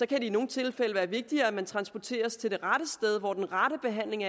det i nogle tilfælde være vigtigere at man transporteres til det rette sted hvor den rette behandling